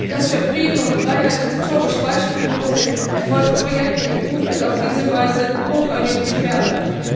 Das für Frieden und Freiheit historisch beispiellose Erfolgsprojekt EU wird auf diese Weise hochgradig gefährdet.